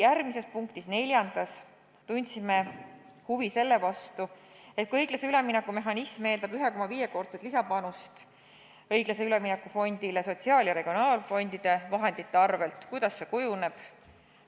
Järgmises, neljandas punktis tundsime huvi selle vastu, et kui õiglase ülemineku mehhanism eeldab 1,5-kordset lisapanust õiglase ülemineku fondile sotsiaal- ja regionaalfondide vahendite arvel, siis kuidas see kujuneb.